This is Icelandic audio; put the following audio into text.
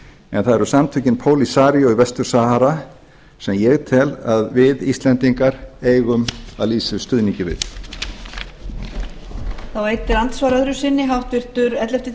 en það eru samtökin polisario í vestur sahara sem ég tel að við íslendingar eigum að lýsa yfir stuðningi við